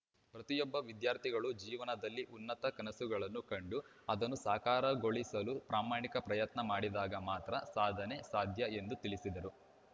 ಪ್ರತಿಯೊಬ್ಬ ವಿದ್ಯಾರ್ಥಿಗಳೂ ಜೀವನದಲ್ಲಿ ಉನ್ನತ ಕನಸುಗಳನ್ನು ಕಂಡು ಅದನ್ನು ಸಾಕಾರಗೊಳಿಸಲು ಪ್ರಾಮಾಣಿಕ ಪ್ರಯತ್ನ ಮಾಡಿದಾಗ ಮಾತ್ರ ಸಾಧನೆ ಸಾಧ್ಯ ಎಂದು ತಿಳಿಸಿದರು